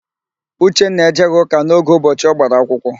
Uchenna ejeghị ụka n'oge ụbọchị ọ gbara akwụkwọ.